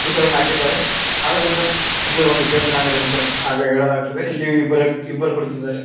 ಚಿತ್ರಣ ಹಾಕಿದ್ದಾರೆ ಆದರಿಂದ ಇದು ಒಂದು ಪೈಂಟ್ ಇನ ಅಂಗಡಿ ಹಾಗ ಹೇಳಲಾಗುತ್ತದೆ ಇಲ್ಲಿ ಇಬ್ಬರು ವ್ಯಕ್ತಿ ಇಬ್ಬರು ಕುಳಿತಿದ್ದಾರೆ.